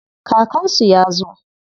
Kakansu ya zo.